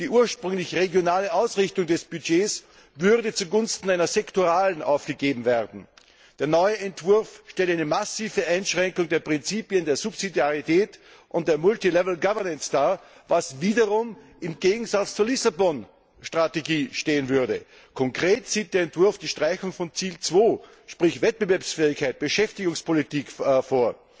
Die ursprünglich regionale Ausrichtung des Budgets würde zugunsten einer sektoralen aufgegeben werden. Der neue Entwurf stellt eine massive Einschränkung der Prinzipien der Subsidiarität und der multilevel governance dar, was wiederum im Gegensatz zur Lissabon Strategie stehen würde. Konkret sieht der Entwurf die Streichung von Ziel 2, sprich Wettbewerbsfähigkeit, Beschäftigungspolitik, vor.